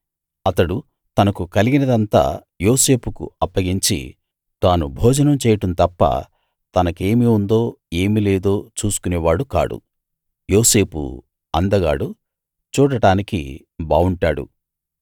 అతడు తనకు కలిగినదంతా యోసేపుకు అప్పగించి తాను భోజనం చేయడం తప్ప తనకేమి ఉందో ఏమి లేదో చూసుకొనేవాడు కాడు యోసేపు అందగాడు చూడడానికి బావుంటాడు